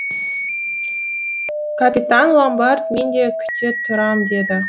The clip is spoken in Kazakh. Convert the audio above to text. капитан ломбард мен де күте тұрам деді